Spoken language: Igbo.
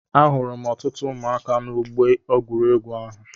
Ahụrụ m ọtụtụ ụmụaka na-Ọgbọ egwuregwu ahụ.